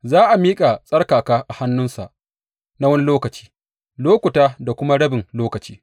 Za a miƙa tsarkaka a hannunsa na wani lokaci, lokuta da kuma rabin lokaci.